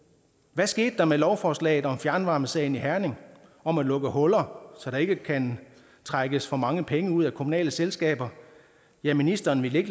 hvad skete der med lovforslaget om fjernvarmesagen i herning om at lukke huller så der ikke kan trækkes for mange penge ud af kommunale selskaber ja ministeren ville